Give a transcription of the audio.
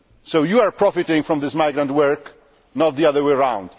So you are profiting from this migrant work, not the other way round.